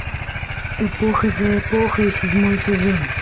эпоха за эпохой седьмой сезон